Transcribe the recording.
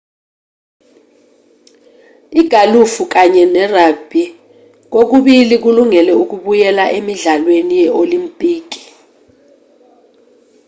igalufu kanye nerugbhi kokubili kulungele ukubuyela emidlalweni ye-olimpiki